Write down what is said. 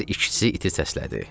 Hər ikisi iti səslədi.